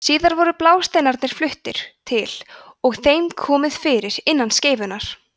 síðar voru blásteinarnir fluttir til og þeim komið fyrir innan skeifunnar